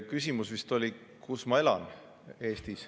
Küsimus vist oli, kus ma elan.